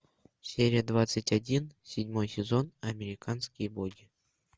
серия двадцать один седьмой сезон американские боги